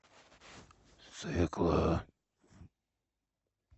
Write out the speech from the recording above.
свекла